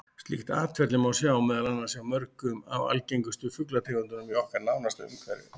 Slíkt atferli má sjá meðal annars hjá mörgum af algengustu fuglategundunum í okkar nánasta umhverfi.